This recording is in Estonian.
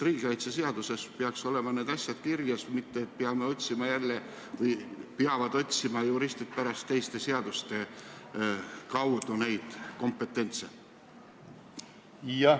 Riigikaitseseaduses peaks need asjad kirjas olema, mitte et juristid peavad pärast teistest seadustest neid kompetentse otsima.